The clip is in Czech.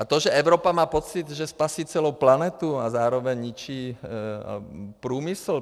A to, že Evropa má pocit, že spasí celou planetu a zároveň ničí průmysl.